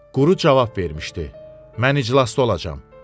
Quru cavab vermişdi: Mən iclasda olacam.